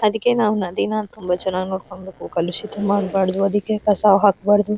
ಅದಕ್ಕೆ ನಾವು ನದಿನ ತುಂಬಾ ಚೆನ್ನಾಗಿ ನೋಡ್ಕೋಬೇಕು ಕಲುಷಿತ ಮಾಡಬಾರದು ಅದಕ್ಕೆ ಕಸ ಹಾಕಬಾರದು.